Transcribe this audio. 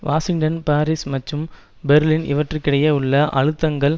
Washington Paris மற்றும் Berlin இவற்றிற்கிடையே உள்ள அழுத்தங்கள்